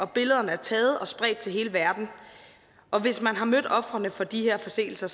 billederne taget og spredt til hele verden og hvis man har mødt ofrene for de her forseelser